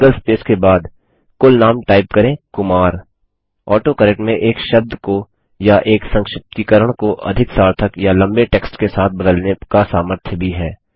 एक single space के बाद कुलनाम टाइप करें कुमार ऑटोकरेक्ट में एक शब्द को या एक संक्षिप्तीकरण को अधिक सार्थक या लम्बे टेक्स्ट के साथ बदलने का सामर्थ्य भी है